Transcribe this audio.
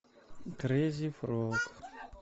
крейзи фрог